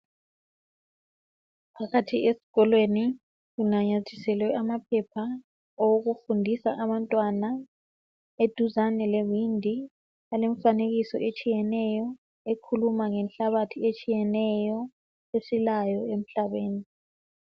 Phakathi esikolweni kunanyathiselwe amaphepha awokufundisa abantwana. Eduzane lewindi alomfanekiso etshiyeneyo ekhuluma ngenhlabathi etshiyeneyo esilayo emhlabeni.